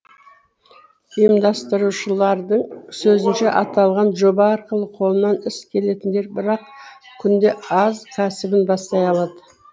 ұйымдастырушылардың сөзінше аталған жоба арқылы қолынан іс келетіндер бір ақ күнде аз кәсібін бастай алады